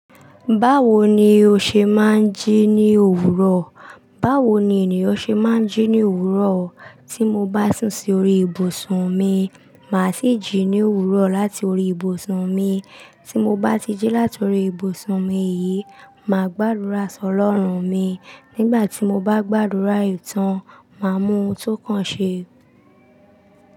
Báwo ni o ṣe má ń jí ní òwúrọ̀? Báwo ni ènìyàn ṣe má ń jí ní òwúrọ̀? Tí mo bá sìn sí orí ibùsùn mi, màá sì jí ní òwúrọ̀ láti orí ibùsùn mi. Tí mo bá ti jí láti orí ibùsùn mi yìí, màá gbàdúrà sọ lọ́run mi. Nígbà tí mo bá gbàdúrà ìtàn, màá mú ohun tó kàn ṣe.